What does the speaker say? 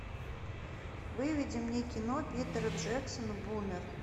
выведи мне кино питера джексона бумер